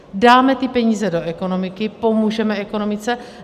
Dáme ty peníze do ekonomiky, pomůžeme ekonomice.